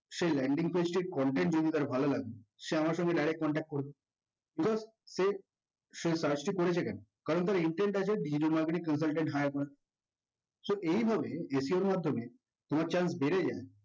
সেই landing page টির content যদি তার ভালো লাগে সে আমার সাথে direct contact করবে। because সে সে search টি করছে কেন কারণ তার intend আছে digital marketing consultant hire করা so এইভাবে SEO এর মাধ্যমে তোমার chance বেড়ে যায়